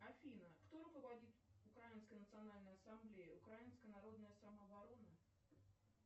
афина кто руководит украинской национальной ассамблеей украинская народная самооборона